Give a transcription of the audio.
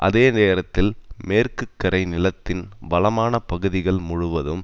அதே நேரத்தில் மேற்குக்கரை நிலத்தின் வளமான பகுதிகள் முழுவதும்